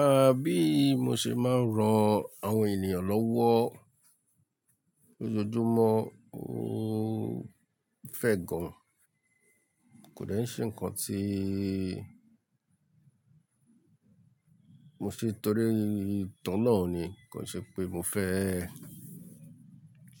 À bí mo ṣe máa ń ran àwọn ènìyàn lọ́wọ́ lójoojúmọ́, n fẹ́ gan. Kò dẹ̀ ṣe ǹkan tíí mo ṣe torí ìtọ́ná ni, kò ṣe pé mo fẹ́